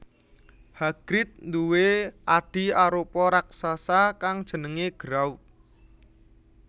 Hagrid duwé adhi arupa raksasa kang jenengé Grawp